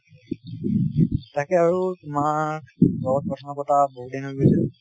তাকে আৰু তোমাৰ লগত কথা নপতা বহুত দিন হৈ গৈছে।